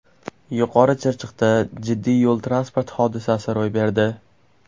Yuqori Chirchiqda jiddiy yo‘l-transport hodisasi ro‘y berdi.